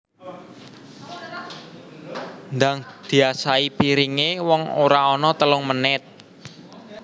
Ndang diasahi piringe wong ora ono telung menit